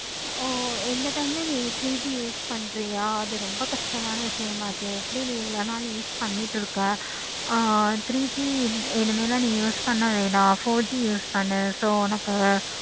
இந்த time ல நீ three G use பண்றியா அது ரொம்ப கஷ்டமான விஷயம் ஆட்சியே எப்படி நீ இவ்வளோ நாள் use பண்ணிக்கிட்டு இருக்க. ஆஹ் three G இனிமேல் தான் use பண்ண வேணாம். four G use பன்னு உனக்கு